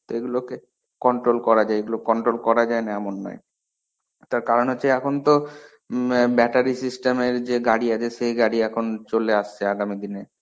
এগুলোকে controll করা যায়. এগুলো controll করা যায় না এমন নয়. তার কারণ হচ্ছে এখন তো ইম battery system এর যে গাড়ী আছে সেই গাড়ী এখন চলে আসছে আগামী দিনে.